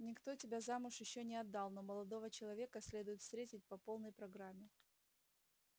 никто тебя замуж ещё не отдал но молодого человека следует встретить по полной программе